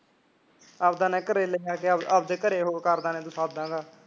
ਆਵਦਾ ਨਾ ਘਰ ਆਵਦਾ ਘਰੇ ਹੋਰ ਕਰਦਾ ਰਿਹਾ